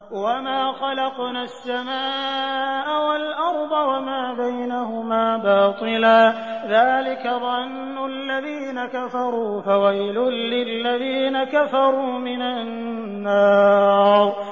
وَمَا خَلَقْنَا السَّمَاءَ وَالْأَرْضَ وَمَا بَيْنَهُمَا بَاطِلًا ۚ ذَٰلِكَ ظَنُّ الَّذِينَ كَفَرُوا ۚ فَوَيْلٌ لِّلَّذِينَ كَفَرُوا مِنَ النَّارِ